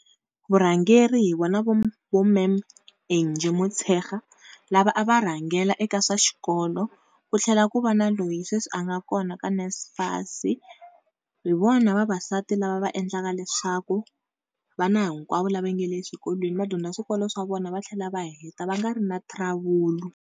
Vurhangeri hi vona vo vo ma'am Angie Motshekga lava a va rhangela eka swa xikolo, ku tlhela ku va na loyi sweswi a nga kona eka NSFAS hi vona vavasati lava va endlaka leswaku vana hinkwavo lava nga le swikolweni vadyondza swikolo swa vona va tlhela va heta va nga ri na trouble.